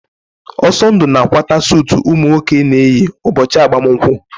Ọsọndụ na-akwata suutu ụmụ nwoke na-eyi ụbọchị agbamakwụkwọ.